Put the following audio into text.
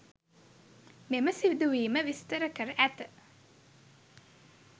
මෙම සිදුවීම විස්තර කර ඇත.